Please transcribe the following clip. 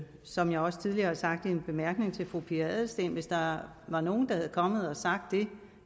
som jeg også tidligere har sagt i en bemærkning til fru pia adelsteen at hvis der var nogen der var kommet og havde sagt det